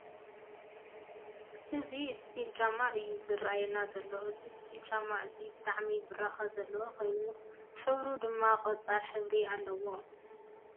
እዚ እስፒል ጫማ እዩ ዝረአየና ዘሎ ። እዚ እስፒል ጫማ እዚ ብጣዕሚ ብራከ ዘለዎ ኮይኑ ሕብሩ ድማ ቆፃል ሕብሪ ኣለዎ።